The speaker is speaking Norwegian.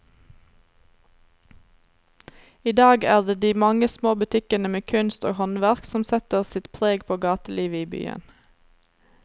I dag er det de mange små butikkene med kunst og håndverk som setter sitt preg på gatelivet i byen.